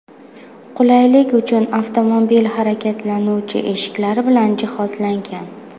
Qulaylik uchun avtomobil harakatlanuvchi eshiklar bilan jihozlangan.